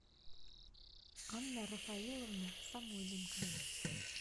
анна рафаиловна самойленко